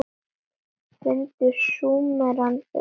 Fundu Súmerar upp hjólið?